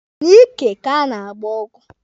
N'ike ka a na-agba ọgwụ.